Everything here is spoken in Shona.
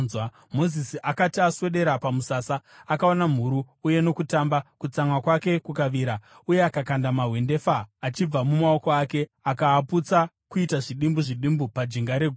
Mozisi akati aswedera pamusasa akaona mhuru uye nokutamba, kutsamwa kwake kukavira uye akakanda mahwendefa achibva mumaoko ake, akaaputsa kuita zvidimbu zvidimbu pajinga regomo.